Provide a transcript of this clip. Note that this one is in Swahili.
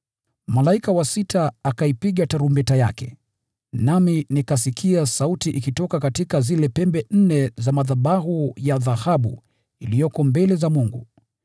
Malaika wa sita akaipiga tarumbeta yake, nami nikasikia sauti ikitoka katika zile pembe za madhabahu ya dhahabu iliyoko mbele za Mungu.